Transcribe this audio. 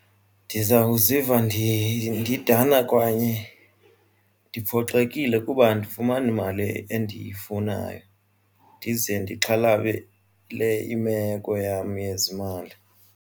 Ndizawuziva ndidana kwanye ndiphoxekile kuba andifumani mali endiyifunayo ndize ndixhalabele imeko yam yezimali.